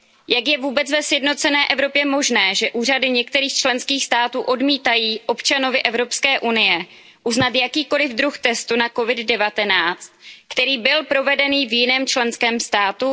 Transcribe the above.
Jak je vůbec ve sjednocené Evropě možné, že úřady některých členských států odmítají občanovi Evropské unie uznat jakýkoli druh testu na COVID 19, který byl provedený v jiném členském státu?